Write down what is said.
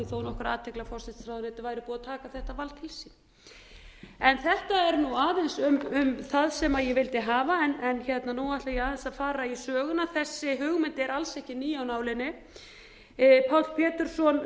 þó nokkra athygli að forsætisráðuneytið væri búið að taka þetta vald til sín en þetta er nú aðeins um það sem ég vildi hafa en nú ætla ég aðeins að fara í söguna þessi hugmynd er alls ekki ný af nálinni páll pétursson